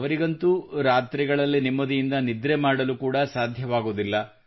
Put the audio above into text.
ಅವರಿಗಂತೂ ರಾತ್ರಿಗಳಲ್ಲಿ ನೆಮ್ಮದಿಯಿಂದ ನಿದ್ರೆ ಮಾಡಲು ಕೂಡಾ ಸಾಧ್ಯವಾಗುವುದಿಲ್ಲ